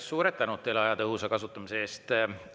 Suur tänu teile aja tõhusa kasutamise eest!